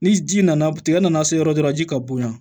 Ni ji nana tigɛ nana se yɔrɔ dɔ la ji ka bonya